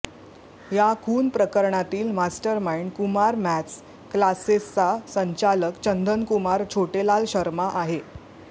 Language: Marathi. या खून प्रकरणातील मास्टर मार्इंड कुमार मॅथ्स क्लासेसचा संचालक चंदनकुमार छोटेलाल शर्मा आहे